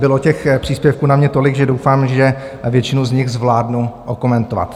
Bylo těch příspěvků na mě tolik, takže doufám, že většinu z nich zvládnu okomentovat.